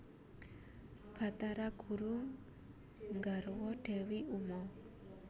Bathara guru nggarwa Dewi Uma